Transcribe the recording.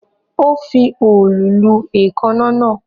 Ó ń fi òòlù lu èékánná náà